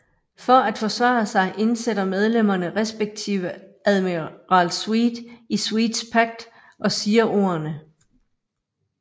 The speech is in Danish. For at forvandle sig indsætter medlemmerne respktive Animal Sweet i Sweets Pact og siger ordene